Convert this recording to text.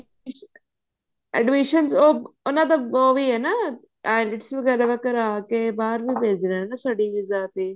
admission ਚ ਉਹ ਉਹਨਾ ਦਾ ਉਹ ਵੀ ਹੈ ਨਾ IELTS ਵਗੇਰਾ ਕਰ ਕੇ ਬਾਹਰ ਨੂੰ ਭੇਜ ਰਹੇ ਨੇ study visa ਤੇ